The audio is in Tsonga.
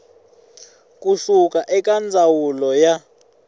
ku suka eka ndzawulo ya